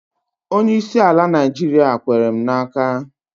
Onyeisi ala Naịjiria kwere m n'aka